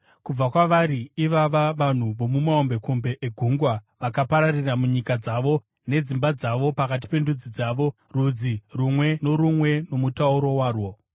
(Kubva kwavari ivava vanhu vomumahombekombe egungwa vakapararira munyika dzavo, nedzimba dzavo pakati pendudzi dzavo, rudzi rumwe norumwe nomutauro warwo.)